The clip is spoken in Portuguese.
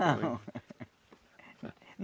Não.